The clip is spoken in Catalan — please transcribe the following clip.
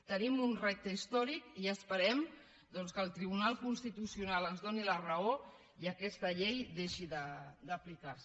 tenim un repte històric i esperem que el tribunal constitucional ens doni la raó i aquesta llei deixi d’aplicar se